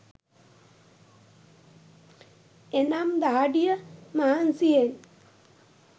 එනම් දහඩිය මහන්සියෙන්